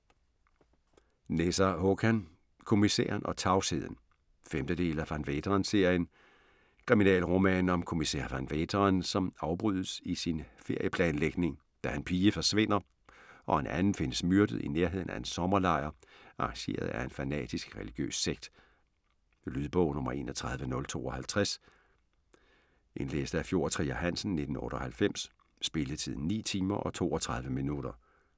Nesser, Håkan: Kommissæren og tavsheden 5. del af Van Veeteren-serien. Kriminalroman om kommissær Van Veeteren, som afbrydes i sin ferieplanlægning, da en pige forsvinder og en anden findes myrdet i nærheden af en sommerlejr arrangeret af en fanatisk, religiøs sekt. Lydbog 31052 Indlæst af Fjord Trier Hansen, 1998. Spilletid: 9 timer, 32 minutter.